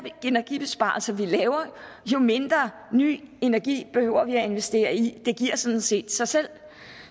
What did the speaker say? energibesparelser vi laver jo mindre ny energi behøver vi at investere i det giver sådan set sig selv